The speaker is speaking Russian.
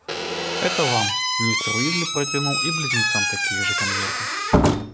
это вам мистер уизли протянул и близнецам такие же конверты